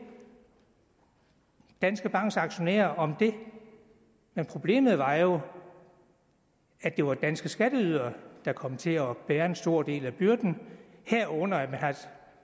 danske banks aktionærer om det men problemet var jo at det var danske skatteydere der kom til at bære en stor del af byrden herunder at man har